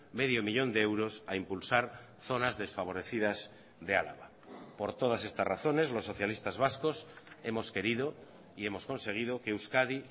medio millón de euros a impulsar zonas desfavorecidas de álava por todas estas razones los socialistas vascos hemos querido y hemos conseguido que euskadi